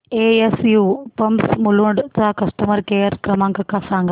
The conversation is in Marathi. एसयू पंप्स मुलुंड चा कस्टमर केअर क्रमांक सांगा